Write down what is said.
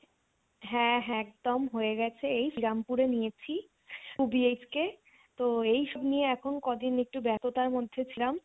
হ্যাঁ হ্যাঁ একদম হয়ে গেছে এই সিরামপুর এ নিয়েছি two inititalBHK তো এই সব নিয়ে এখন ক দিন একটু ব্যততার মধ্যে ছিলাম